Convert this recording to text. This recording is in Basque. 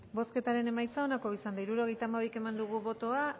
bozketaren emaitza onako izan da hirurogeita hamabi eman dugu bozka